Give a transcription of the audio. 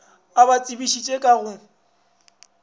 e ba tsebišitše ka go